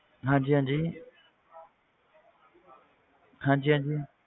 ਹਾਂਜੀ ਹਾਂਜੀ ਹਾਂਜੀ ਹਾਂਜੀ